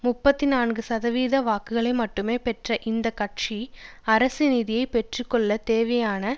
முப்பத்தி நான்கு சதவீத வாக்குகளை மட்டுமே பெற்ற இந்த கட்சி அரசு நிதியை பெற்றுக்கொள்ளத் தேவையான